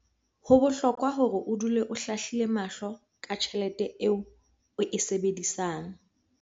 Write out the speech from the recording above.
Ho bohlokwa hore o dule o hlahlile mahlo ka tjhelete eo o e sebedisang.